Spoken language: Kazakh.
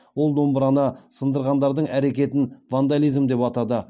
ол домбыраны сындырғандардың әрекетін вандализм деп атады